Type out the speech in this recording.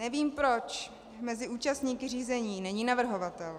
Nevím, proč mezi účastníky řízení není navrhovatel.